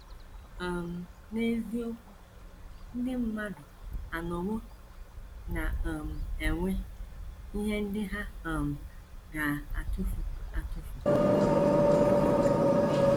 um N’eziokwu, ndị mmadụ anọwo na - um enwe ihe ndị ha um ga - atụfu atụfu.